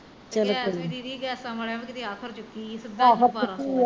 ਤੇ ਐਸ ਵੇਲੇ ਦੀਦੀ ਗੈਸਾਂ ਵਾਲਿਆ ਨੇ ਕਿਤੇ ਆਫਤ ਚੁੱਕੀ ਆ ਸਿੱਧਾ ਈ